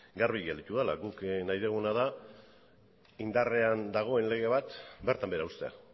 garbi gelditu dela guk nahi duguna da indarrean dagoen lege bat bertan behera uztea